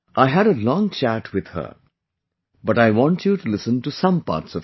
I had a long chat with her, but I want you to listen to some parts of it